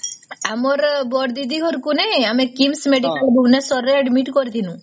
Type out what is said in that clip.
ଆମର ବଡ଼ ଦିଦି ଘର କୁ ନାଇଁ ଆମେ KIIS medical bhubaneswar ରେ admit କରିଥିଲୁ